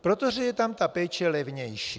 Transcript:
protože je tam ta péče levnější.